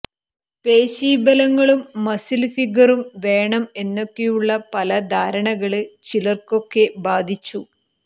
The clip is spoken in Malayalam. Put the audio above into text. പേശീബലങ്ങളും മസില് ഫിഗറും വേണം എന്നൊക്കെയുള്ള പല ധാരണകള് ചിലര്ക്കൊക്കെ ബാധിച്ചു